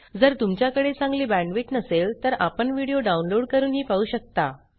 जर तुमच्याकडे चांगली बॅण्डविड्थ नसेल तर आपण व्हिडिओ डाउनलोड करूनही पाहू शकता